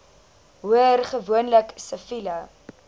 hoor gewoonlik siviele